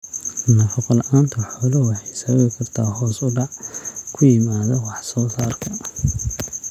Nafaqo la'aanta xooluhu waxay sababi kartaa hoos u dhac ku yimaada wax soo saarka.